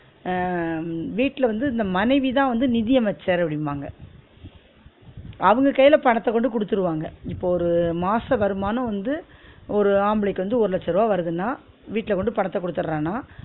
அஹ் வீட்ல வந்து இந்த மனைவி தான் வந்து நிதி அமைச்சர் அப்டிம்பாங்க அவுங்க கையில பணத்த கொண்டு குடுத்துருவாங்க இப்ப ஒரு மாச வருமானம் வந்து ஒரு ஆம்பளைக்கு வந்து ஒரு லட்ச ருவா வருதுனா வீட்ல கொண்டு பணத்த குடுத்துரானா